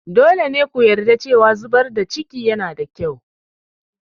Dole ne ku yarda cewa zubar da cikin yanada kyau.